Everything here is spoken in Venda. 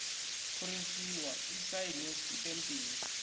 phurinthiwa i sainwe i ṱempiwe